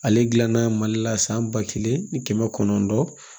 Ale gilan na mali la san ba kelen ni kɛmɛ kɔnɔntɔn